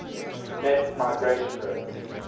net migration rate